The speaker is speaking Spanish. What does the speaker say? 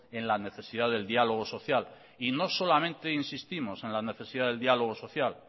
en la necesidad del diálogo social y no solamente insistimos en la necesidad del diálogo social